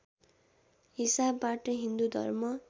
हिसाबबाट हिन्दू धर्म